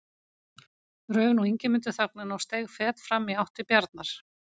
Rauf nú Ingimundur þögnina og steig fet fram í átt til Bjarnar.